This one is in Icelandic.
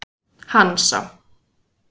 Hansa